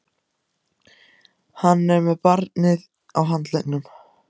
Hann er með barnið á handleggnum.